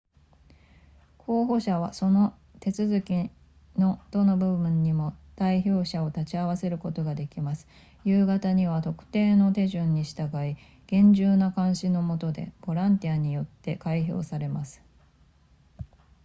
候補者はその手続きのどの部分にも代表者を立ち会わせることができます夕方には特定の手順に従い厳重な監視の下でボランティアによって開票されます